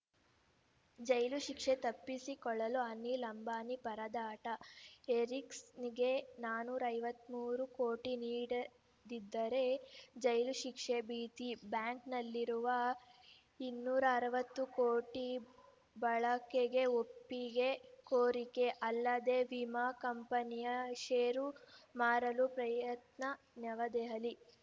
ಜೈಲು ಶಿಕ್ಷೆ ತಪ್ಪಿಸಿಕೊಳ್ಳಲು ಅನಿಲ್‌ ಅಂಬಾನಿ ಪರದಾಟ ಎರಿಕ್ಸನ್‌ಗೆ ನಾನೂರ ಐವತ್ತ್ ಮೂರು ಕೋಟಿ ನೀಡದಿದ್ದರೆ ಜೈಲು ಶಿಕ್ಷೆ ಭೀತಿ ಬ್ಯಾಂಕನಲ್ಲಿರುವ ಇನ್ನೂರ ಅರವತ್ತು ಕೋಟಿ ಬಳಕೆಗೆ ಒಪ್ಪಿಗೆ ಕೋರಿಕೆ ಅಲ್ಲದೆ ವಿಮಾ ಕಂಪನಿಯ ಷೇರು ಮಾರಲೂ ಪ್ರಯತ್ನ ನವದೆಹಲಿ